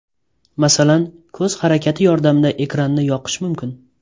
Masalan, ko‘z harakati yordamida ekranni yoqish mumkin.